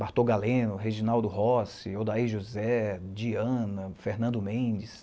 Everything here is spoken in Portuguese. Bartô Galeno, Reginaldo Rossi, Odaí José, Diana, Fernando Mendes.